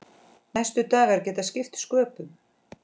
Næstu dagar geta skipt sköpum.